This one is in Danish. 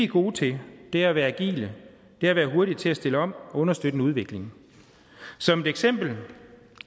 gode til er at være agile det er at være hurtige til at stille om og understøtte en udvikling som et eksempel